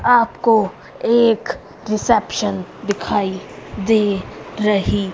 आपको एक रिसेप्शन दिखाई दे रही --